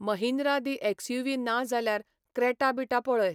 महिंद्रा दी एक्सयूवी ना जाल्यार क्रॅटा बिटा पळय.